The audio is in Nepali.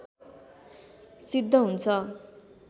सिद्ध हुन्छ